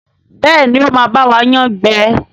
Béèni o má ba wa yán gbé.